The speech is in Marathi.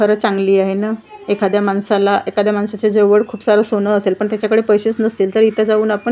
खरं चांगली आहे ना एखाद्या माणसाला एखाद्या माणसाच्या जवळ खूप सारं सोनं असेल पण त्याच्याकडे पैसेच नसतील तर इथं जाऊन आपण आह--